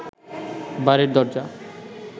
বাড়ির দরজা